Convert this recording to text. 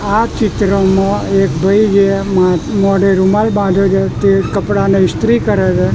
આ ચિત્રમાં એક ભાઈએ મા મોઢે રુમાલ બાંધ્યો છે તે કપડાને ઈસ્ત્રી કરે છે.